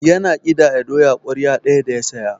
Yana ƙidaya doya ƙwarya ɗaya da ya saya.